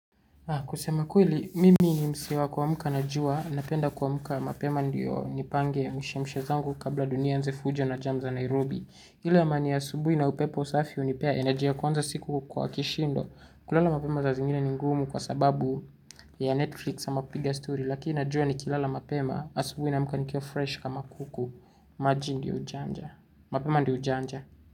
Kusema kweli, mimi ni mse wa kuamka na jua, napenda kuamka mapema ndio nipange mishemishe zangu kabla dunia ianze fujo na jam za Nairobi. Ile amani ya asubuhi na upepo usafi hunipea energy ya kuanza siku kwa kishindo. Kulala mapema saa zingine ni ngumu kwa sababu ya Netflix sama kupiga Story. Lakini najua nikilala mapema asubuhi naamka nikiwa fresh kama kuku. Maji ndio ujanja, mapema ndio ujanja.